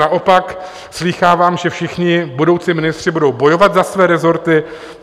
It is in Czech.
Naopak slýchávám, že všichni budoucí ministři budou bojovat za své rezorty.